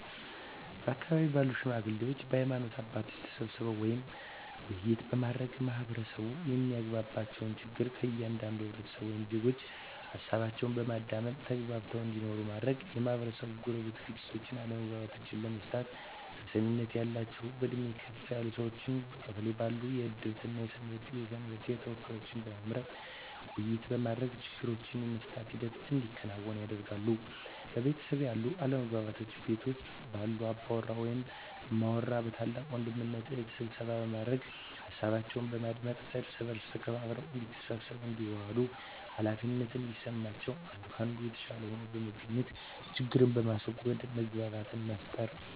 በአካባቢው ባሉ ሽማግሌዎች በሀይማኖት አባቶች ተሰብስበው ውይይት በማድረግ ማህበረሰቡ የማያግባባቸውን ችግር ከእያንዳንዱ ህብረተሰብ ወይም ዜጎች ሀሳባቸውን በማዳመጥ ተግባብተው እንዲኖሩ ማድረግ, የማህበረሰቡን የጎረቤት ግጭቶችን አለመግባባቶችን ለመፍታት ተሰሚነት ያላቸውን በእድሜ ከፍ ያሉ ሰዎችን በቀበሌው ባሉ የእድርተኛ እና የሰንበቴ ተወካዮችን በመምረጥ ውይይት በማድረግ ችግሩን የመፍታት ሂደት እንዲከናወን ያደርጋሉ። በቤተሰብ ያሉ አለመግባባቶችን ቤት ውስጥ ባሉ አባወራ ወይም እማወራ በታላቅ ወንድም እና እህት ስብሰባ በማድረግ ሀሳባቸውን በማዳመጥ እርስ በእርስ ተከባብረው እዲተሳሰቡ እንዲዋደዱ ሃላፊነት እንዲሰማቸው አንዱ ከአንዱ የተሻለ ሆኖ በመገኘት ችግርን በማስዎገድ መግባባትን መፍጠር።